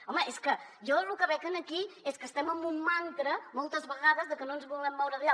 home és que jo lo que veig aquí és que estem en un mantra moltes vegades que no ens volem moure d’allà